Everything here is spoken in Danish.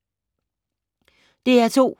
DR2